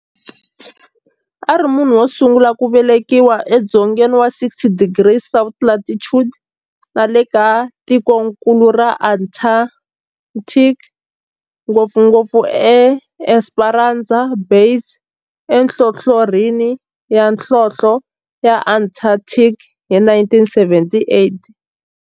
A ri munhu wosungula ku velekiwa edzongeni wa 60 degrees south latitude nale ka tikonkulu ra Antarctic, ngopfungopfu eEsperanza Base enhlohlorhini ya nhlonhle ya Antarctic hi 1978.